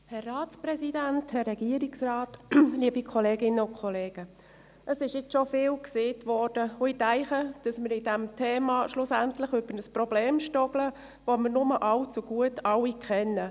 Ich denke, wir stolpern schlussendlich bei diesem Thema über ein Problem, das wir alle nur allzu gut kennen: